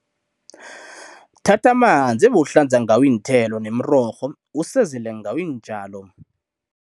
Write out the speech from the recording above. Thatha amanzi ebewuhlanza ngawo iinthelo nemirorho usezele ngawo iintjalo.